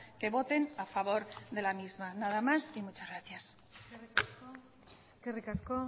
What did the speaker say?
que voten a favor de la misma nada más y muchas gracias eskerrik asko